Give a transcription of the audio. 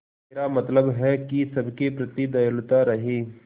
मेरा मतलब है कि सबके प्रति दयालु रहें